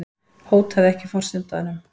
Hótaði ekki forsetanum